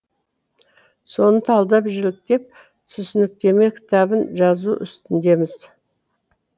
соны талдап жіліктеп түсініктеме кітабын жазу үстіндеміз